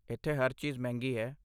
ਇੱਥੇ ਹਰ ਚੀਜ਼ ਮਹਿੰਗੀ ਹੈ।